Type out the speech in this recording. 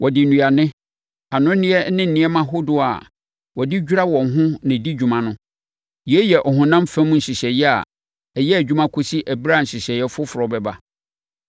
Wɔde nnuane, anonneɛ ne nneɛma ahodoɔ a wɔde dwira wɔn ho na ɛdi dwuma no. Yei yɛ ɔhonam fam nhyehyɛeɛ a ɛyɛ adwuma kɔsi ɛberɛ a nhyehyɛeɛ foforɔ bɛba.